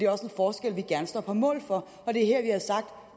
også en forskel vi gerne står på mål for